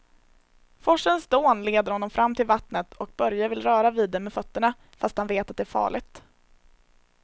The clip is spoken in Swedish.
Forsens dån leder honom fram till vattnet och Börje vill röra vid det med fötterna, fast han vet att det är farligt.